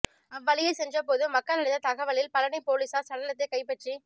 அவ்வழியே சென்ற பொது மக்கள் அளித்த தகவலில் பழநி போலீசார் சடலத்தை கைப்பற்றி